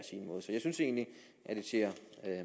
jeg synes egentlig at det ser